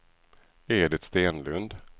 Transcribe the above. Edit Stenlund